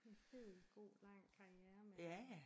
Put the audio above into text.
En fed god lang karriere med øh